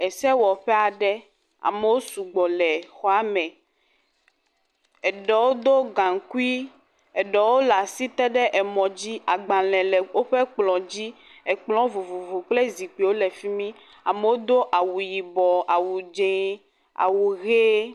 Esewɔƒe aɖe, amo su gbɔ le exɔa me, eɖewo do gaŋkui, eɖewo le asi te ɖe emɔ dzi, agbalẽ e woƒe kplɔ̃ dzi, ekplɔ̃ vovovo kple zikpuiwo le fi mi, amewo do awu yibɔ, awu dz0, awu hee e…